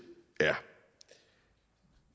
er